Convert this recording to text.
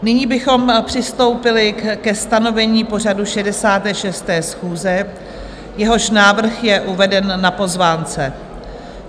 Nyní bychom přistoupili ke stanovení pořadu 66. schůze, jehož návrh je uveden na pozvánce.